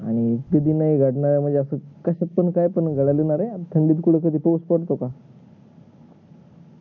कस काय कधी पण निघाला रे थंडीत कधी कुणी तेच करत का